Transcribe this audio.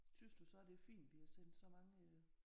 Synes du så det er fint at vi har sent så mange øh